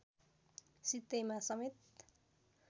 सित्तैमा समेत